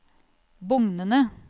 bugnende